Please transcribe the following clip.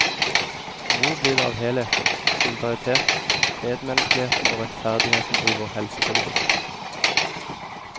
Hvor blir det av helheten, solidariteten, medmenneskeligheten og rettferdigheten i vår helsepolitikk.